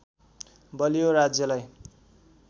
बलियो राज्यलाई